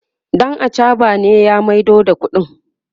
ɗan achaɓa ne ya maido da ƙuɗin